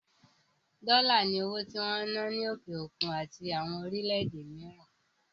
Dollars ni owó tí wón ń ná ní òkè òkun àti àwọn orílẹ̀ èdè mìíràn